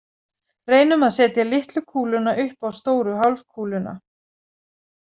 Reynum að setja litlu kúluna upp á stóru hálfkúluna.